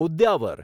Udyavar